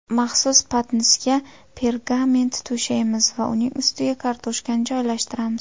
Maxsus patnisga pergament to‘shaymiz va uning ustiga kartoshkani joylashtiramiz.